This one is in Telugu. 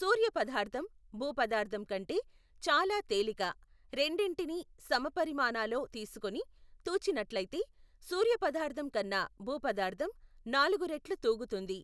సూర్యపదార్ధం, భూపదార్ధంకంటే, చాలా తేలిక రెండింటినీ, సమపరిమాణాలో తీసుకుని, తూచినట్టయితే, సూర్యపదార్ధం కన్న, భూపదార్ధం, నాలుగురెట్లు తూగుతుంది.